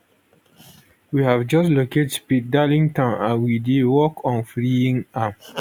we have just locate speed darlington and we dey work on freeing am